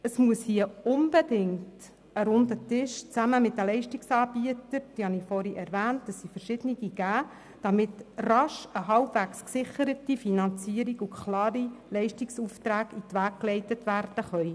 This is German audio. Es muss hier unbedingt einen runden Tisch zusammen mit den Leistungsanbietern geben, damit rasch eine halbwegs gesicherte Finanzierung und klare Leistungsaufträge in die Wege geleitet werden können.